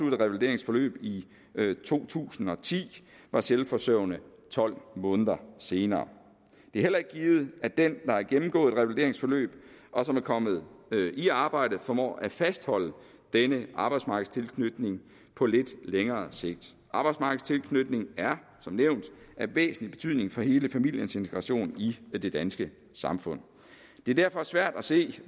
et revalideringsforløb i to tusind og ti var selvforsørgende tolv måneder senere det er heller ikke givet at den der har gennemgået et revalideringsforløb og som er kommet i arbejde formår at fastholde denne arbejdsmarkedstilknytning på lidt længere sigt arbejdsmarkedstilknytning er som nævnt af væsentlig betydning for hele familiens integration i det danske samfund det er derfor svært at se